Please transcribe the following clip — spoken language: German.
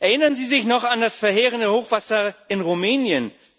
Erinnern Sie sich noch an das verheerende Hochwasser in Rumänien